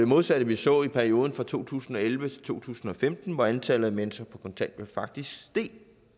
modsatte vi så i perioden fra to tusind og elleve til to tusind og femten hvor antallet af mennesker på kontanthjælp faktisk steg